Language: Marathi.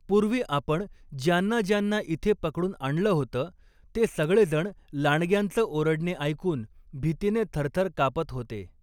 पूर्वी आपण ज्यांना ज्यांना इथे पकडून आणलं होतं, ते सगळेजण लांडग्यांच ओरडणे ऐकून भीतीने थरथर कापत होते.